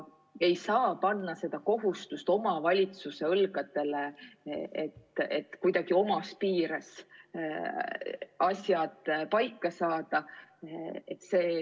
Ei saa panna seda kohustust omavalitsuste õlgadele, et nad kuidagi omas piires asjad paika saaksid.